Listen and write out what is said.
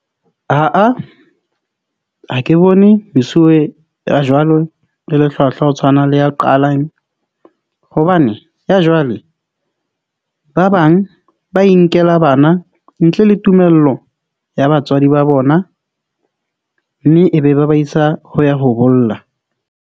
Ah ha ke bone mesuwe ya jwalo le le hlwahlwa, ho tshwana le ya qalang hobane ya jwale, ba bang ba inkela bana ntle le tumello ya batswadi ba bona mme e be ba ba isa ho ya ho bolla.